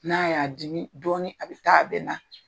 N'a y'a dimi dɔɔnin a bɛ taa a bɛ na.